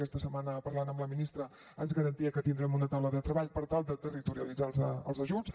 aquesta setmana parlant amb la ministra ens garantia que tindrem una taula de treball per tal de territorialitzar els ajuts